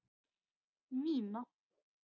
Nína